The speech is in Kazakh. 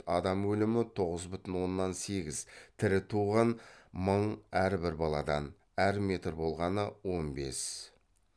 адам өлімі тоғыз бүтін оннан сегіз тірі туған мың әр бір баладан әр метр болғаны он бес